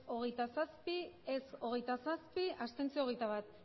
hogeita zazpi ez hogeita zazpi abstentzioak hogeita bat